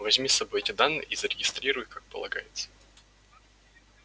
возьми с собой эти данные и зарегистрируй их как полагается